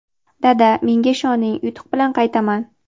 "Dada, menga ishoning, yutuq bilan qaytaman".